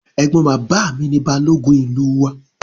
Ẹ̀gbọ́n bàbá mi ni Balógun ìlú wa